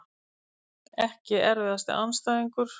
EKKI erfiðasti andstæðingur?